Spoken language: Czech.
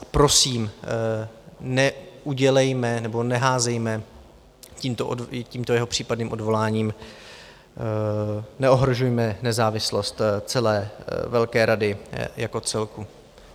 A prosím, neudělejme nebo neházejme tímto jeho případným odvoláním, neohrožujme nezávislost celé velké rady jako celku.